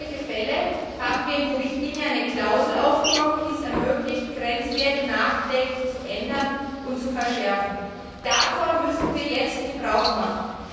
Genau für solche Fälle haben wir eine Klausel in die Richtlinie aufgenommen, die es ermöglicht, Grenzwerte nachträglich zu ändern und zu verschärfen. Davon müssen wir jetzt Gebrauch machen.